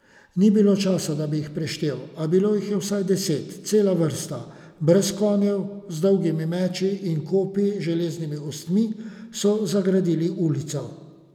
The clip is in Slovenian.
Ni bilo časa, da bi jih preštel, a bilo jih je vsaj deset, cela vrsta, brez konjev, z dolgimi meči in kopji z železnimi ostmi so zagradili ulico.